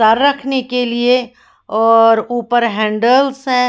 Sir रखने के लिए और ऊपर हैंडल्स है।